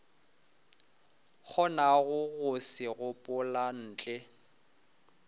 kgonago go se gopola ntle